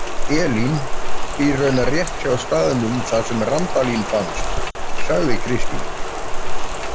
Elín býr raunar rétt hjá staðnum þar sem Randalín fannst, sagði Kristín.